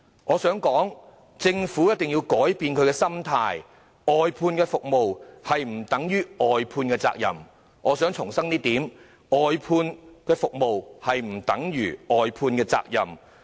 我想指出，政府必須改變心態，外判服務不等於外判責任；我想重申，外判服務不等於外判責任。